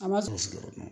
An b'a susu